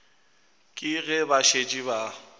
ke ge ba šetše ba